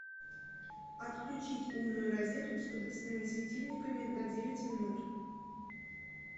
отключить умную розетку с подвесными светильниками на девять минут